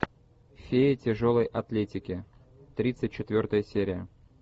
фея тяжелой атлетики тридцать четвертая серия